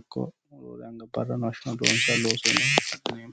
ikko roore anga barrano hashshano loonsaniho.